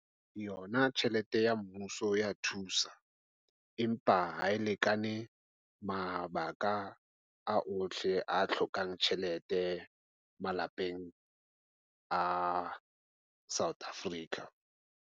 Yona tjhelete ya mmuso e ya thusa, empa ha e lekane mabaka a ohle a hlokang tjhelete malapeng a South Africa.